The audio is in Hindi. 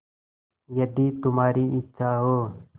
यदि तुम्हारी इच्छा हो